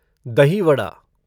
दही वड़ा